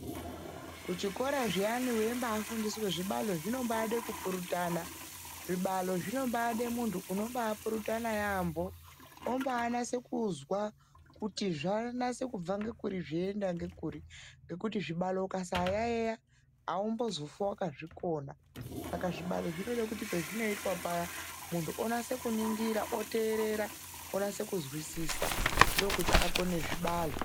Kuchikora zviyani weimbafundiswa zvibalo zvinobaada kupurutana. Zvibalo zvinombaade munhu unobapurutana yaemho ombanasa kuzwa kuti zvanase kubva ngekuri zveienda ngekuri ngekuti zvibalo ukasayaeya aumbozofi wakazvikona. Saka zvibalo zvinoda kuti pezvinoitwa paya munhu onase kuningira oteerera onase kuzwisisa ndokuti akone zvibalo.